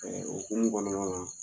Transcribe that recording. o hukumu kɔnɔna na